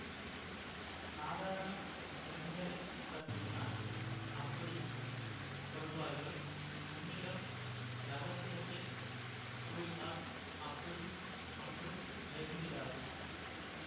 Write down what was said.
சாதாரண பெண்களைப்பற்றித்தான் அப்படி சொல்வார்கள் உன்னிடம் இரகசியத்தைக் கூறினால் அப்படி ஒன்றும் நேர்ந்திடாது